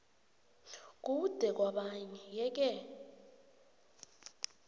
kude kwabanye yeke